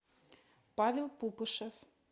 павел пупышев